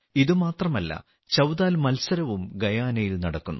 ഇത് മാത്രമല്ല ചൌതാൽ മത്സരവും ഗയാനയിൽ നടക്കുന്നു